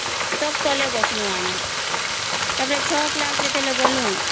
ତଵ ତଳେ ବସିଲୁ ଆମେ ଯେତେବେଳେ ଛ class ଗଲୁ